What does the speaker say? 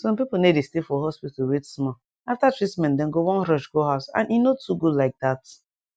some pipu no dey stay for hospital wait small after treatment dem go wan rush go house and e no too good like dat